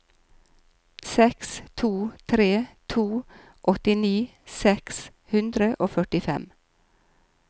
seks to tre to åttini seks hundre og førtifem